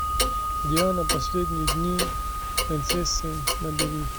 диана последние дни принцессы набери